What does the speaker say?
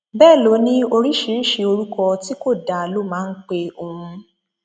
bẹẹ ló ní oríṣiríṣiì orúkọ tí kò dáa ló máa ń pe òun